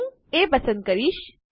હું એ પસંદ કરીશ